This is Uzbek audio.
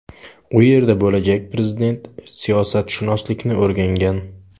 U yerda bo‘lajak prezident siyosatshunoslikni o‘rgangan.